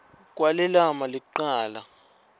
kwale lama licala